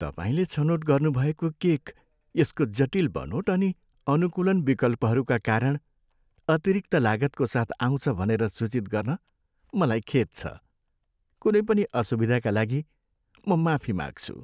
तपाईँले छनोट गर्नुभएको केक यसको जटिल बनोट अनि अनुकूलन विकल्पहरूका कारण अतिरिक्त लागतको साथ आउँछ भनेर सूचित गर्न मलाई खेद छ। कुनै पनि असुविधाका लागि म माफी माग्छु।